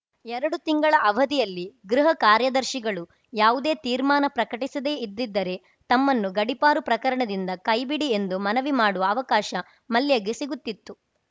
ಎರಡು ತಿಂಗಳ ಅವಧಿಯಲ್ಲಿ ಗೃಹ ಕಾರ್ಯದರ್ಶಿಗಳು ಯಾವುದೇ ತೀರ್ಮಾನ ಪ್ರಕಟಿಸದೇ ಇದ್ದಿದ್ದರೆ ತಮ್ಮನ್ನು ಗಡೀಪಾರು ಪ್ರಕರಣದಿಂದ ಕೈಬಿಡಿ ಎಂದು ಮನವಿ ಮಾಡುವ ಅವಕಾಶ ಮಲ್ಯಗೆ ಸಿಗುತ್ತಿತ್ತು